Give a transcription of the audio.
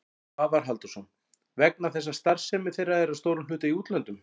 Svavar Halldórsson: Vegna þess að starfsemi þeirra er að stórum hluta í útlöndum?